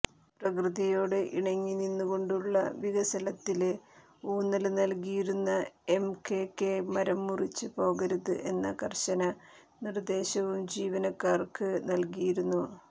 പ്രകൃതിയോട് ഇണങ്ങി നിന്നുകൊണ്ടുള്ള വികസനത്തിന് ഊന്നല് നല്കിയിരുന്ന എംകെകെ മരം മുറിച്ച് പോകരുത് എന്ന കര്ശന നിര്ദ്ദേശവും ജീവനക്കാര്ക്ക് നല്കിയിരുന്നു